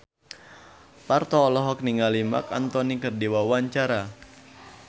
Parto olohok ningali Marc Anthony keur diwawancara